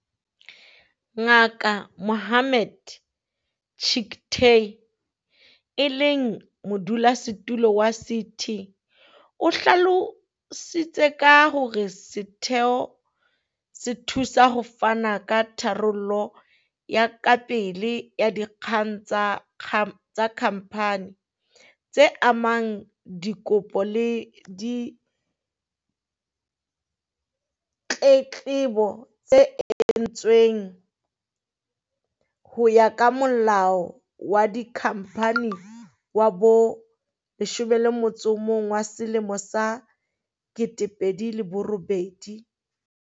Ngaka Mohammed Chicktay, e leng Modulasetulo wa CT, o hlalositse ka hore setheo se thusa ho fana ka tharollo ya kapele ya dikgang tsa kha mphani, tse amanang le dikopo le ditletlebo tse entsweng ho ya ka Molao wa Dikhamphani wa bo leshome le motso o mong wa selemo sa kete pedi le borebedi.